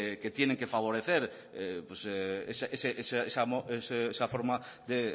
que tienen que favorecer esa forma de